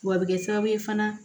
W'a bɛ kɛ sababu ye fana